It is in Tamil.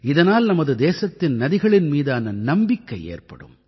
இதனால் நமது தேசத்தின் நதிகளின் மீதான நம்பிக்கை ஏற்படும்